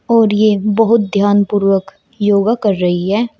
और ये बहुत ध्यानपूर्वक योगा कर रही है।